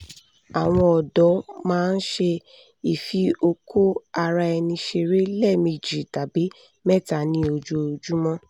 àwọn ọ̀dọ́ máa ń ṣe ìfiokóaraẹniṣeré lẹ́ẹ̀mejì tàbí mẹ́ta ní ojoojúmọ́